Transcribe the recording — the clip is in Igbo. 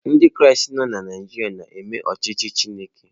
Ndị Kraịst nọ na Naịjirịa na-eme ọchịchị Chineke